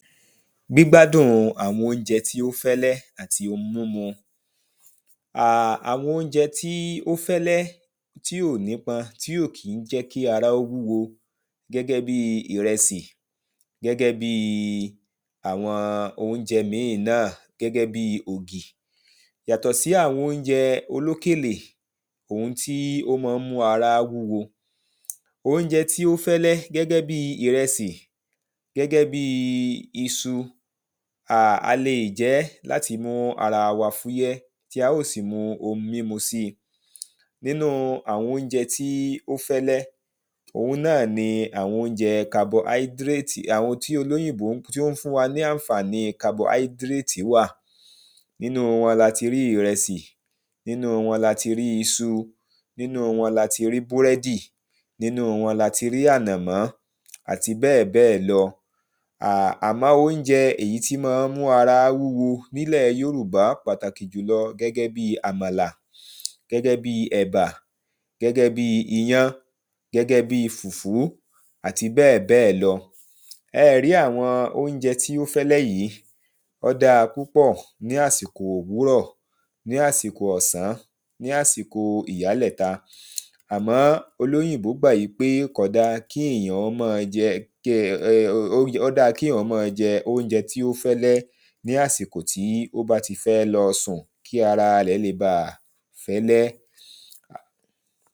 Gbígbádùn àwọn óúnjẹ tí ó fẹ́lẹ́ àti ohun mímú um Àwọn óúnjẹ tí ó fẹ́lẹ́ tí ò nípọn, tí ò kí jẹ́ kí ará wúwo. Gẹ́gẹ́ bi ìrẹsì, gẹ́gẹ́ bi àwọn óúnjẹ mìí náà, gẹ́gẹ́ bi ògì, yàtọ̀ sí àwọn óúnjẹ olókèlè, òun tí ó máá ń mú ará wúwo Óúnjẹ tí ó fẹ́lẹ́, gẹ́gẹ́ bi ìrẹsì, gẹ́gẹ́ bi isu. A lè jẹ ẹ́ láti mú ara fúyẹ́, tí a ó sì mu ohun mímu si Nínu àwọn óúnjẹ tí ó fẹ́lẹ́, òun náà ni àwọn óúnjẹ́ "carbohydrate" àwọn tí olóyìnbó tí ó ń fún wa ní àǹfààní "carbohydrate" wà. Nínu wọn ni a ti rí ìrẹsì, nínu wọn ni a ti rí isu, nínu wọn ni a ti rí búrẹ́dì, nínu wọn ni a ti rí ànàmọ́ àti bẹ́ẹ̀ bẹ́ẹ̀ lọ um Àmọ́, óúnjẹ èyí tí ó mọ́ ń mú ará wúwo nílẹ̀ yorùbá pàtàkì jùlọ, gẹ́gẹ́ bi àmàlà, gẹ́gẹ́ bi ẹ̀bá, gẹ́gẹ́ bi iyán, gẹ́gẹ́ bi fùfú àti bẹ́ẹ̀ bẹ́ẹ̀ lọ Ẹ ẹ rí àwọn óúnjẹ tí ó fẹ́lẹ́ yìí, ó dáa púpọ̀ ní àsìkò òwúrọ̀, ní àsìkò ọ̀sán, ní àsìkò ìyálẹ̀ta. Àmọ́ olóyìnbó gbà wípé kò dáa kí èèyàn kí [um um] ó dáa kí èèyàn mọ jẹ óúnjẹ tí ó fẹ́lẹ́ ní àsìkò tí ó fẹ́ lọsùn kí ara rẹ̀ le bà fẹ́lẹ́